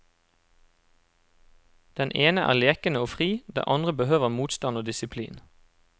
Den ene er lekende og fri, den andre behøver motstand og disiplin.